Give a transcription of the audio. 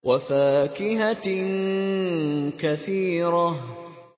وَفَاكِهَةٍ كَثِيرَةٍ